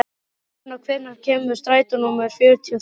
Guðna, hvenær kemur strætó númer fjörutíu og þrjú?